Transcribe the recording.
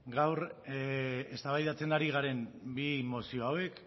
gaur eztabaidatzen ari garen bi mozio hauek